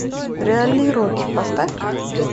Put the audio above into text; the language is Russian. реальный рокки поставь ка